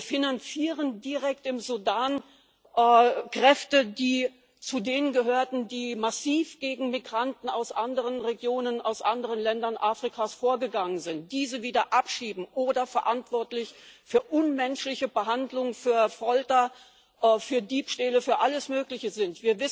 Wir finanzieren direkt im Sudan Kräfte, die zu denen gehörten, die massiv gegen Migranten aus anderen Regionen, aus anderen Ländern Afrikas vorgegangen sind, diese wieder abschieben oder verantwortlich für unmenschliche Behandlung, für Folter, für Diebstähle, für alles mögliche sind.